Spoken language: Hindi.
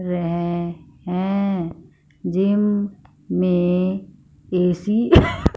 वे हैं जिम में ऐ_सी --